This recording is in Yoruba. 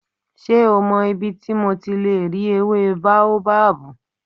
Ṣé o mọ ibi tí mo ti lè rí ewé bóábábù?